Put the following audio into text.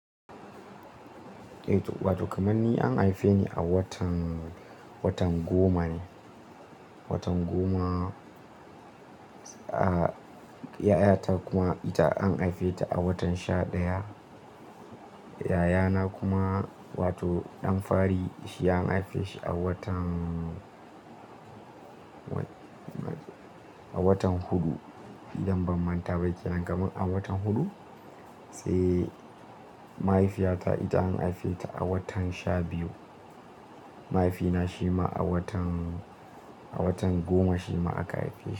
Eh, wato kamar ni an haife ni a watan, watan goma ne. Watan goma, a-yayata kuma ita an haife ta a watan sha ɗaya. Yayana kuma wato ɗan fa ri shi an haife shi a watan a watan huɗu idan ban manta ba. Kenan kaman a watan huɗu? Sai mahaifiyata ita an haife ta a watan sha biyu. Mahaifina shi ma a watan, a watan goma shi ma aka haife shi.